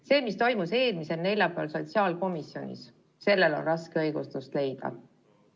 See, mis toimus eelmisel neljapäeval sotsiaalkomisjonis, sellele on raske õigustust leida.